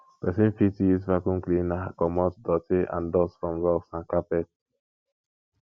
person fit use vacuum cleaner comot doty and dust from rugs and carpets